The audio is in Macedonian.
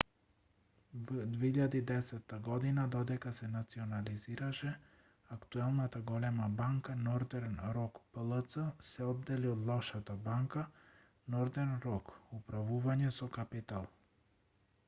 во 2010 година додека се национализираше актуелната голема банка нортерн рок плц се оддели од 'лошата банка' нортерн рок управување со капитал